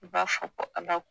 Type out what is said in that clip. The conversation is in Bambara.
B'a fɔ ko ala